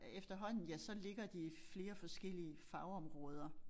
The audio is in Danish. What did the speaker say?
Øh efterhånden ja så ligger det i flere forskellige fagområder